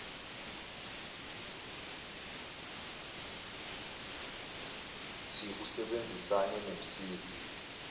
thi usebenzisane nomsizi